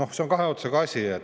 See on kahe otsaga asi.